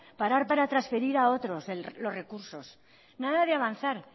parar para transferir a otros los recursos nada de avanzar